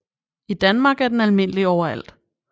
I Danmark er den almindelig overalt